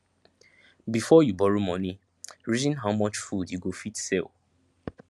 before you borrow moni reason how much food you go fit sell